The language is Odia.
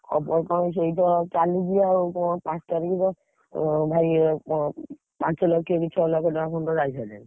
ଖବର କଣ ସେଇତ ଚାଲିଚି ଆଉ କଣ ପାଞ୍ଚ ତାରିଖ୍ ର, ହଁ ଭାଇ କଣ? ପାଞ୍ଚ ଲକ୍ଷ ଏଠି ଛଅ ଲକ୍ଷ ଟଙ୍କା ସମସ୍ତଙ୍କର ଯାଇ ସାଇଲାଣି।